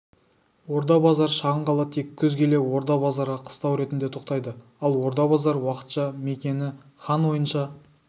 орда-базар шағын қала тек күз келе орда-базарға қыстау ретінде тоқтайды ал орда-базар уақытша мекені хан ойынша